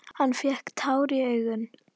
Hann fékk tár í augun.